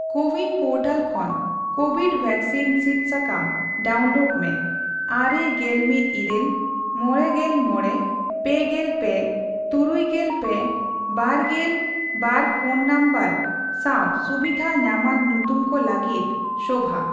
CoWIN portal ᱠᱷᱚᱱ Covid vaccine ᱥᱤᱫ ᱥᱟᱠᱟᱢ ᱰᱟᱣᱩᱱᱞᱳᱰ ᱢᱮ ᱟᱨᱮ, ᱜᱮᱞᱢᱤᱴ ᱤᱨᱟᱹᱞ, ᱢᱚᱲᱮᱜᱮᱞ ᱢᱚᱲᱮ, ᱯᱮᱜᱮᱞ ᱯᱮ, ᱛᱩᱨᱩᱭᱜᱮᱞ ᱯᱮ, ᱵᱟᱨᱜᱮᱞ ᱵᱟᱨᱯᱷᱚᱱ ᱱᱚᱢᱵᱚᱨ ᱥᱟᱣ ᱥᱩᱵᱤᱫᱷ ᱧᱟᱢᱟᱱ ᱧᱩᱛᱩᱢ ᱠᱚ ᱞᱟᱹᱜᱤᱫ ᱥᱳᱵᱷᱟ ᱾